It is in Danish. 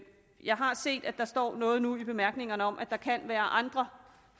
jeg har set at der står noget nu i bemærkningerne om at der kan være andre